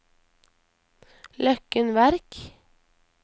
Løkken Verk